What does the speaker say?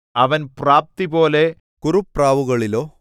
അവൻ പ്രാപ്തിപോലെ കുറുപ്രാവുകളിലോ